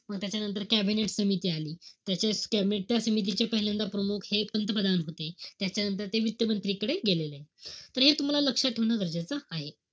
मी त्याच्यानंतर cabinet समिती आली. त्या समितीचे पहिल्यांदा प्रमुख हे पंतप्रधान होते. त्याच्यानंतर ते वित्तमंत्रीकडे गेलेलेय. तर हे तुम्हाला लक्षात ठेवणं गरजेचं आहे.